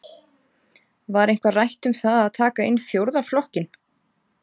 Var eitthvað rætt um það að taka inn fjórða flokkinn?